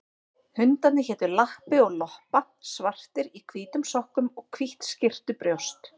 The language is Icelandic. Hundarnir hétu Lappi og Loppa, svartir í hvítum sokkum og hvítt skyrtubrjóst.